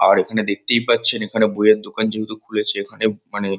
আর এখানে দেখতেই পাচ্ছেন এখানে বইয়ের দোকান যেহেতু খুলেছে এখানে মানে--